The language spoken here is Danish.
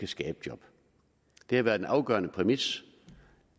skabe job det har været en afgørende præmis